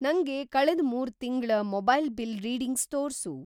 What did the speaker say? ನಂಗೆ ಕಳೆದ್‌ ಮೂರು ತಿಂಗಳ ಮೊಬೈಲ್ ಬಿಲ್‌ ರೀಡಿಂಗ್ಸ್‌ ತೋರ್ಸು.